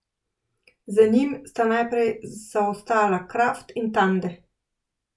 Za njim sta najprej zaostala Kraft in Tande.